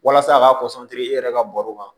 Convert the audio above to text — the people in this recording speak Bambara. Walasa a ka kɔsan teri e yɛrɛ ka bɔrɔw kan